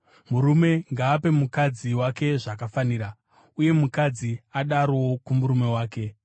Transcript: Murume ngaape mukadzi wake zvakafanira, uye nomukadzi adarowo kumurume wake.